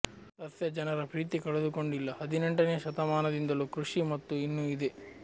ಸಸ್ಯ ಜನರ ಪ್ರೀತಿ ಕಳೆದುಕೊಂಡಿಲ್ಲ ಹದಿನೆಂಟನೇ ಶತಮಾನದಿಂದಲೂ ಕೃಷಿ ಮತ್ತು ಇನ್ನೂ ಇದೆ